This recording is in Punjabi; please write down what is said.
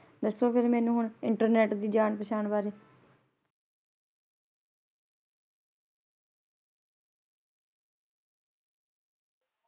ਦੱਸੋ ਮੈਨੂੰ ਫੇਰ ਮੈਨੂੰ ਹੁਣ internet ਦੇ ਜਾਨ ਪਹਿਚਾਣ ਬਾਰੇ ।